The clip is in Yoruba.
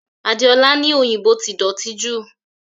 Adeola ní òyìnbó ti dọ̀tí jù